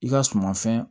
I ka suman fɛn